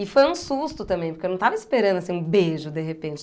E foi um susto também, porque eu não estava esperando, assim, um beijo, de repente.